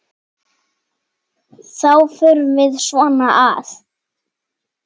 Þá förum við svona að